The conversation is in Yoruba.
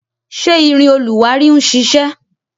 Ṣé irin oluwari ń sisẹ?